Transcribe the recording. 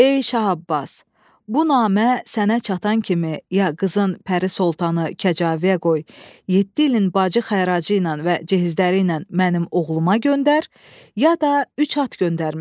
Ey Şah Abbas, bu namə sənə çatan kimi ya qızın Pəri Soltanı kəcaviyə qoy, yeddi ilin bacı xəracı ilə və cehizləri ilə mənim oğluma göndər, ya da üç at göndərmişəm.